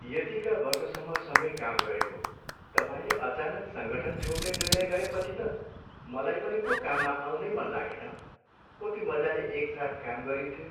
यतिका वर्षसम्म सँगै काम गरेको, तपाईँले अचानक सङ्गठन छोड्ने निर्णय गरेपछि त मलाई पनि पो काममा आउनै मन लागेन। कति मजाले एकसाथ काम गरिन्थ्यो!